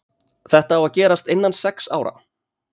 Þetta á að gerast innan sex ára.